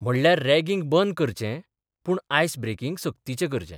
म्हणल्यार रॅगिंग बंद करचें, पूण आयस ब्रेकिंग सक्तीचें करचें.